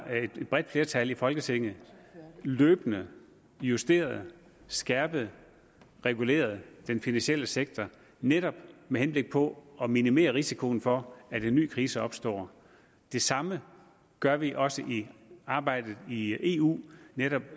et bredt flertal i folketinget løbende justeret skærpet og reguleret den finansielle sektor netop med henblik på at minimere risikoen for at en ny krise opstår det samme gør vi også i arbejdet i eu netop